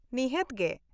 ᱱᱤᱦᱟ.ᱛ ᱜᱮ᱾